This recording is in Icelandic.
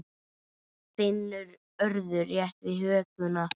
Finnur örðu rétt við hökuna.